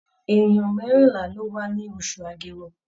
È̀nìyàn mẹ́rìnlá ló wá ní oṣù Agẹmọ.